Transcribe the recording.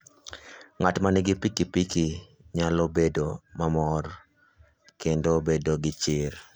Ng'at ma nigi pikipiki nyalo bedo mamor kendo bedo gi chir.